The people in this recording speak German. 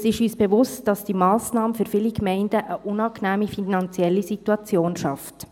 Es ist uns bewusst, dass die Massnahme für viele Gemeinden eine unangenehme finanzielle Situation schafft.